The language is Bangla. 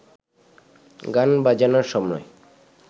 গান বাজনার সময়